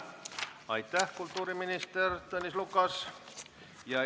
Aitäh, kultuuriminister Tõnis Lukas!